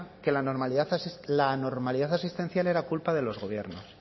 que la anormalidad asistencial era culpa de los gobiernos